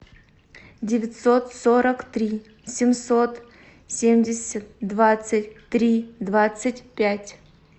девятьсот сорок три семьсот семьдесят двадцать три двадцать пять